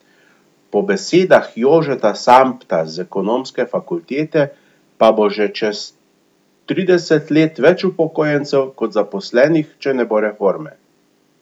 Po besedah Jožeta Sambta z Ekonomske fakultete pa bo že čez trideset let več upokojencev kot zaposlenih, če ne bo reforme.